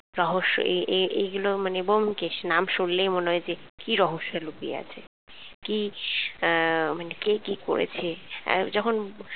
রহস্য এ এ এগুলো, মানে ব্যোমকেশ নাম শুনলেই মনে হয় যে কি রহস্য লুকিয়ে আছে, কি আহ মানে কে কি করেছে আহ? যখন